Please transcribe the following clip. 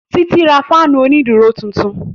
Títí ra fáànù òní dúró tuntun